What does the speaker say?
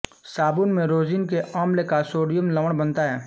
साबुन में रोज़िन के अम्ल का सोडियम लवण बनता है